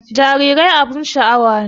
Jarirai abun sha'awa ne